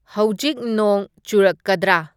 ꯍꯧꯒꯤꯛ ꯅꯣꯡ ꯆꯨꯔꯛꯀꯗ꯭ꯔꯥ